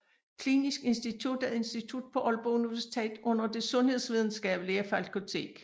Klinisk Institut er et institut på Aalborg Universitet under Det Sundhedsvidenskabelige Fakultet